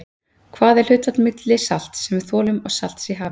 Hvað er hlutfallið milli salts, sem við þolum, og salts í hafi?